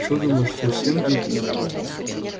что думаешь совсем дикий